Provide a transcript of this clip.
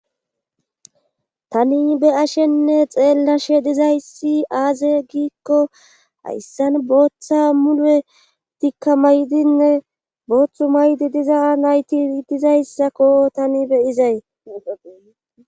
tani be ashenne xeellashe dizayssi aaze giikko hayssan booththa mule tikka maydinne booththu maydi diza nayti dizayssakko tani beyizay